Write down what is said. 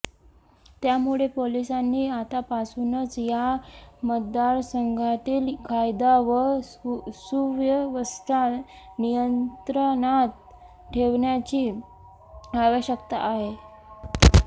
त्यामुळे पोलिसांनी आतापासूनच या मतदारसंघातील कायदा व सुव्यवस्था नियंत्रणात ठेवण्याची आवश्यकता आहे